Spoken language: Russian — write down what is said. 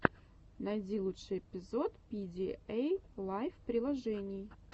найди лучший эпизод пидиэйлайф приложений